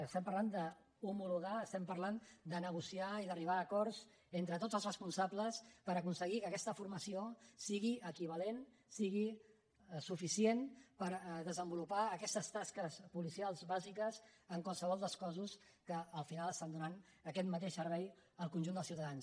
estem parlant d’homologar estem parlant de negociar i d’arribar a acords entre tots els responsables per aconseguir que aquesta formació sigui equivalent sigui suficient per desenvolupar aquestes tasques policials bàsiques en qualsevol dels cossos que al final estan donant aquest mateix servei al conjunt dels ciutadans